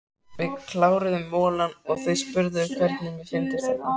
Við kláruðum molann og þeir spurðu hvernig mér fyndist þetta.